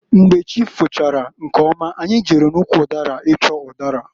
Mgbe chi fochara nkeọma anyị jere n'ụkwụ ụdara ịchọ ụdara.